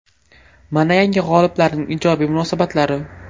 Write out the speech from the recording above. Mana yangi g‘oliblarning ijobiy munosabatlari.